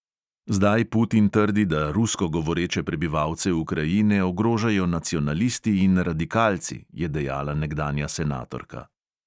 Zdaj putin trdi, da rusko govoreče prebivalce ukrajine ogrožajo nacionalisti in radikalci, je dejala nekdanja senatorka.